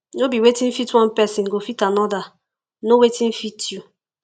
no be wetin fit one persin go fit another know wetin fit you